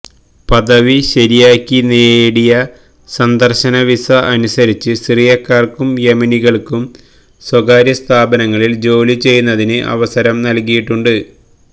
പദവി ശരിയാക്കി നേടിയ സന്ദർശന വിസ അനുസരിച്ച് സിറിയക്കാർക്കും യെമനികൾക്കും സ്വകാര്യ സ്ഥാപനങ്ങളിൽ ജോലി ചെയ്യുന്നതിന് അവസരം നൽകിയിട്ടുണ്ട്